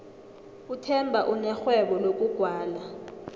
uthemba unerhwebo lokugwala